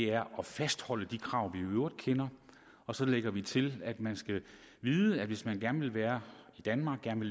er at fastholde de krav vi i øvrigt kender og så lægger vi til at man skal vide at hvis man gerne vil være i danmark gerne